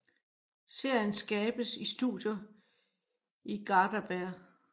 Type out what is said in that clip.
Serien skabes i studier i Garðabær